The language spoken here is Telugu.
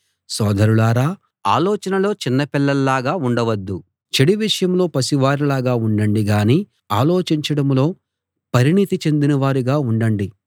సోదరులారా ఆలోచనలో చిన్న పిల్లల్లాగా ఉండవద్దు చెడు విషయంలో పసివారిలాగా ఉండండి గానీ ఆలోచించడంలో పరిణతి చెందినవారుగా ఉండండి